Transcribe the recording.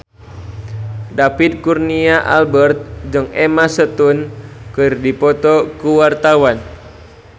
David Kurnia Albert jeung Emma Stone keur dipoto ku wartawan